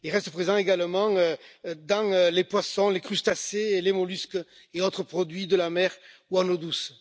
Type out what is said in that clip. Il reste présent également dans les poissons, les crustacés, les mollusques et autres produits de la mer ou d'eau douce.